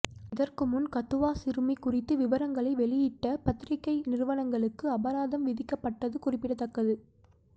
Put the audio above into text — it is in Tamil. இதற்குமுன் கதுவா சிறுமி குறித்து விவரங்களை வெளியிட்ட பத்திரிக்கை நிறுவனங்களுக்கு அபராதம் விதிக்கப்பட்டது குறிப்பிடத்தக்கது